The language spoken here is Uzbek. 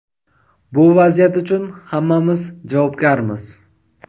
bu vaziyat uchun hammamiz javobgarmiz.